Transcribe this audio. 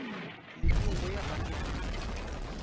lehung go ya banna le